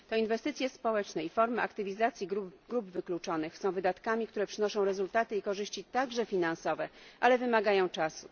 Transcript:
To inwestycje społeczne i formy aktywizacji grup wykluczonych są wydatkami, które przynoszą rezultaty i korzyści, także finansowe, ale wymagają czasu.